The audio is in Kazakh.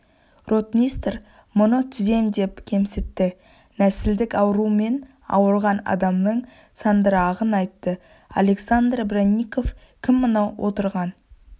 ротмистр мұны түзем деп кемсітті нәсілдік аурумен ауырған адамның сандырағын айтты александр бронников кім мынау отырған